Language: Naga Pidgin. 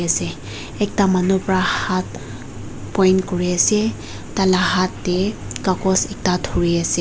ase ekta manu para haat point kori ase tar laga haat te kagus ekta thori ase.